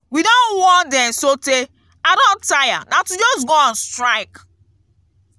we don warn dem so tey i don tire na to just go on strike.